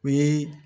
O ye